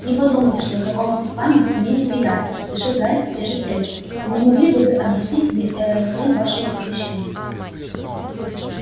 не подумайте что знакомство с вами мне неприятно поспешил гарри утешить эльфа но не могли бы вы объяснить мне ээ цель вашего посещения